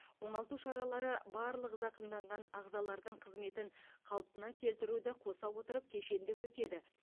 оңалту шаралары барлық зақымданған ағзалардың қызметін қалпына келтіруді қоса отырып кешенді өтеді